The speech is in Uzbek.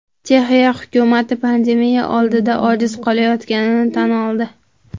Chexiya hukumati pandemiya oldida ojiz qolayotganini tan oldi.